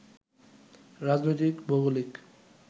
রাজনৈতিক, ভৌগোলিক